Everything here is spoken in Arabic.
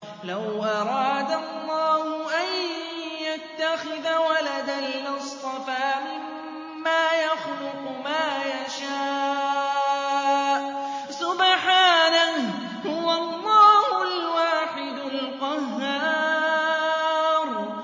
لَّوْ أَرَادَ اللَّهُ أَن يَتَّخِذَ وَلَدًا لَّاصْطَفَىٰ مِمَّا يَخْلُقُ مَا يَشَاءُ ۚ سُبْحَانَهُ ۖ هُوَ اللَّهُ الْوَاحِدُ الْقَهَّارُ